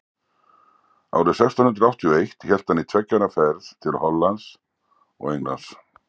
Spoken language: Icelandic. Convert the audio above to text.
árið sextán hundrað áttatíu og eitt hélt hann í tveggja ára ferð til hollands og englands